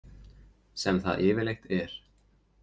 Sem það yfirleitt er.